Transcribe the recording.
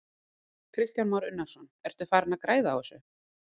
Kristján Már Unnarsson: Ertu farinn að græða á þessu?